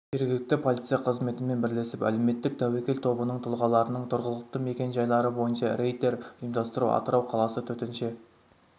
жергілікті полиция қызметімен бірлесіп әлеуметтік тәуекел тобының тұлғаларының тұрғылықты мекенжайлары бойынша рейдтер ұйымдастыру атырау қаласы төтенше